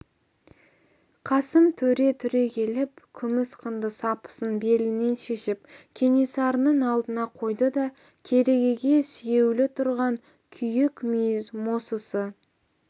қасым төре түрегеліп күміс қынды сапысын белінен шешіп кенесарының алдына қойды да керегеге сүйеулі тұрған киік мүйіз мосысы